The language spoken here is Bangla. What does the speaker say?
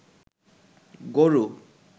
গরু